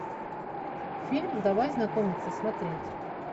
фильм давай знакомиться смотреть